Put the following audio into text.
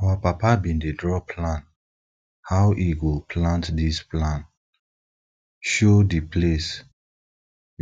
our papa bin dey draw plan how e go plant dis plan show di place